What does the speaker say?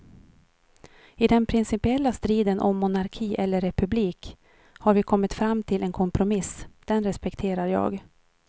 I den principiella striden om monarki eller republik har vi kommit fram till en kompromiss, den respekterar jag.